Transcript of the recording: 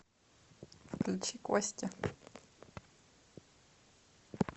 включи кости